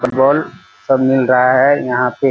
Football सब मिल रहा है यहाँ पे।